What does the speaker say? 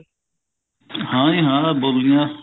ਹਾਂ ਜੀ ਹਾਂ ਬੋਲੀਆਂ